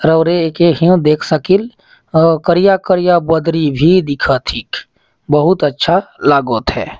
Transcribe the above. राउरे एके हव देख सकिल अउ करिया करिया बद्री भी दिखत है बहुत अच्छा लागत हे।